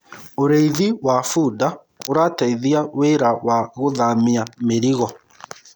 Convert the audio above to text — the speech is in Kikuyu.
ũrĩithi wa bunda urateithia wira wa guthamia mirigo